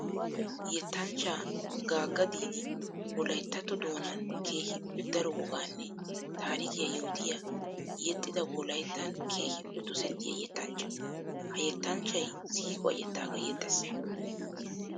Yettanchcha gaga didi wolayttatto doonan keehippe daro wogaanne taarikiya yootiya yexxidda wolayttan keehippe dosettiya yettanchcha. Ha yettanchchay siiquwa yettakka yexxes.